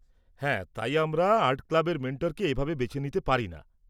হ্যাঁ, তাই আমরা আর্ট ক্লাবের মেন্টরকে এভাবে বেছে নিতে পারি না।